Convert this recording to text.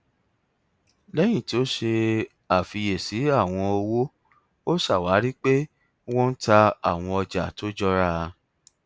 lẹyìn tí ó ṣe àfíyẹsí àwọn owó ó ṣàwárí pé wọn ń tà àwọn ọjà tó jọra